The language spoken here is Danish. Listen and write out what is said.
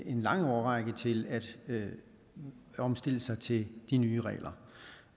en lang årrække til at omstille sig til de nye regler